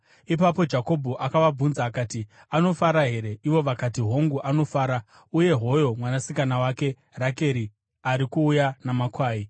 Ipapo Jakobho akavabvunza akati, “Anofara here?” Ivo vakati, “Hongu, anofara uye hoyo mwanasikana wake Rakeri ari kuuya namakwai.”